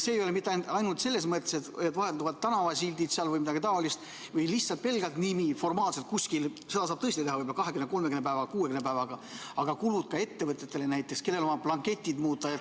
See ei ole nii mitte ainult selles mõttes, et vahetuvad tänavasildid või midagi taolist või lihtsalt pelgalt nimi formaalselt kuskil, seda saab tõesti teha juba 20, 30, 60 päevaga, aga tekivad kulud ettevõtjatel, näiteks on vaja blankette muuta.